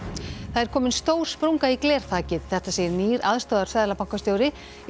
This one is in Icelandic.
það er komin stór sprunga í glerþakið þetta segir nýr aðstoðarseðlabankastjóri í